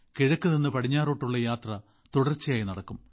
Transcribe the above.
കിഴക്ക് നിന്ന് പടിഞ്ഞാറോട്ടുള്ള യാത്ര തുടർച്ചയായി നടക്കും